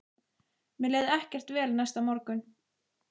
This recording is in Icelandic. Mér leið ekkert vel næsta morgun.